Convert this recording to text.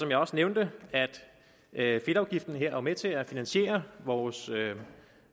jeg også nævnte at fedtafgiften er med til at finansiere vores